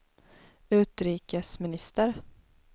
utrikesminister